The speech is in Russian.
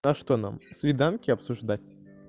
а что нам свиданки обсуждать